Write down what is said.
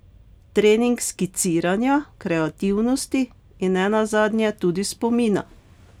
Trening skiciranja, kreativnosti in ne nazadnje tudi spomina.